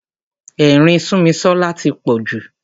Ẹ̀rín Súnmisọ́lá tí pọ̀ jù.